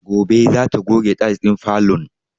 Gobe za ta goge tayis ɗin falon